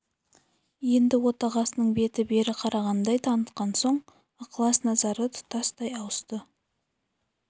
енді отағасының беті бері қарағандай танытқан соң ықылас-назары тұтастай ауысты